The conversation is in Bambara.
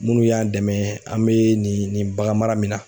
Munnu y'an dɛmɛ an be nin nin baganmara min na